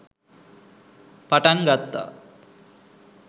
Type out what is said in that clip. පටන් ගත්තා.